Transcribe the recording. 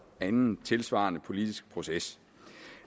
anden tilsvarende politisk proces